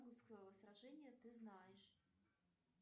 сражения ты знаешь